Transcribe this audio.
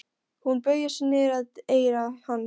Hún beygir sig niður að eyra hans.